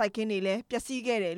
ိုက်ခင်းတွေ ပျက်စီးခဲ့ပါ